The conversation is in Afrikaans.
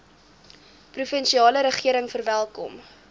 provinsiale regering verwelkom